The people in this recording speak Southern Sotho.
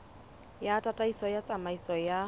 ya tataiso ya tsamaiso ya